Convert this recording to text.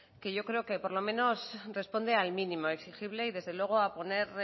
que yo creo que por lo menos responde al mínimo exigible y desde luego a poner